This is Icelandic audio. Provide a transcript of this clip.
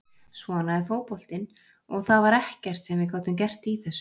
Svona er fótboltinn og það var ekkert sem við gátum gert í þessu.